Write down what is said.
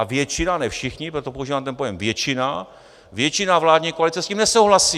A většina, ne všichni, proto používám ten pojem většina, většina vládní koalice s tím nesouhlasí.